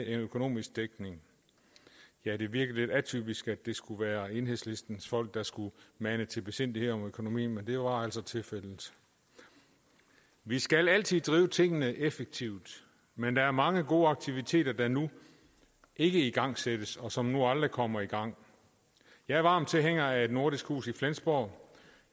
en økonomisk dækning ja det virkede lidt atypisk at det skulle være enhedslistens folk der skulle mane til besindighed med økonomien men det var altså tilfældet vi skal altid drive tingene effektivt men der er mange gode aktiviteter der nu ikke igangsættes og som nu aldrig kommer i gang jeg er varm tilhænger af et nordisk hus i flensborg